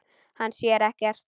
Hann sér ekkert.